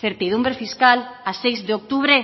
certidumbre fiscal a seis de octubre